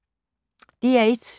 DR1